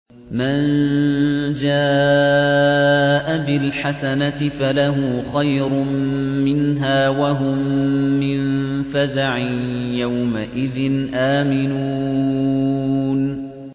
مَن جَاءَ بِالْحَسَنَةِ فَلَهُ خَيْرٌ مِّنْهَا وَهُم مِّن فَزَعٍ يَوْمَئِذٍ آمِنُونَ